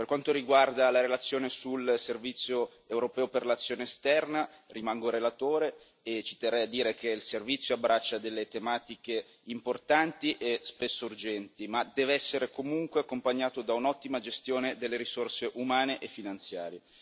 Per quanto riguarda la relazione sul Servizio europeo per l'azione esterna, rimango relatore e ci terrei a dire che il Servizio abbraccia delle tematiche importanti e spesso urgenti ma deve essere comunque accompagnato da un'ottima gestione delle risorse umane e finanziarie.